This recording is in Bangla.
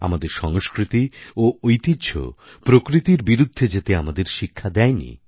আমাদের সংস্কৃতি ও ঐতিহ্য প্রকৃতির বিরুদ্ধে যেতে আমাদের শিক্ষা দেয়নি